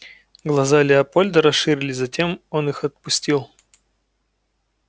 глаза леопольда расширились затем он их отпустил